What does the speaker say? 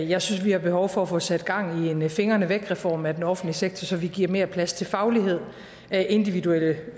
jeg synes at vi har behov for at få sat gang i en fingrene væk reform af den offentlige sektor så vi giver mere plads til faglighed individuelle